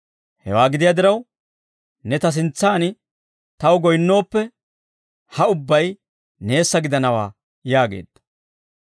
Hewaa gidiyaa diraw, ne ta sintsaan taw goyinnooppe ha ubbay neessa gidanawaa» yaageedda.